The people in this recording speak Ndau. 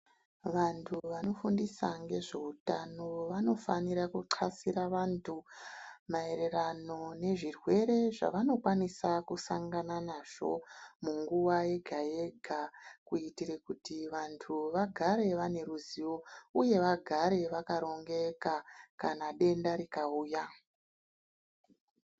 Vantu vanofundisa ngezveutano vanofanira kuxasira vantu maererano nezvirwere zvavanokwanisa kusangana nazvo munguwa yega yega kuitire kuti vantu vagare vane ruzivo uye vagare vakarongeka kana denda rikauya.